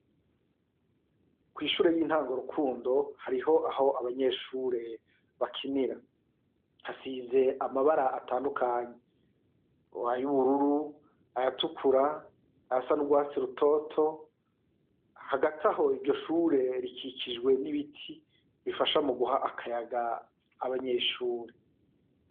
Kw'ishure y'intango Rukundo hariho aho abanyeshure bakinira, hasize amabara atandukanye, ay'ubururu, ayatukura, ayasa n'urwatsi rutoto, hagati aho iryo shure rikikijwe n'ibiti bifasha muguha akayaga abanyeshure.